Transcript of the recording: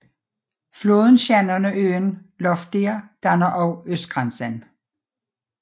Floden Shannon og søen Lough Derg danner også østgrænsen